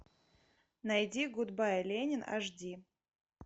найди гудбай ленин аш ди